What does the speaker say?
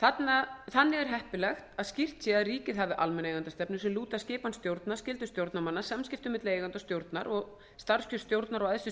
þannig er heppilegt að skýrt sé að ríkið hafi almenna eigendastefnu sem lúti að skipan stjórna skyldum stjórnarmanna samskiptum milli eigenda og stjórnar og starfskjör stjórnar og æðstu